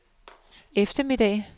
eftermiddag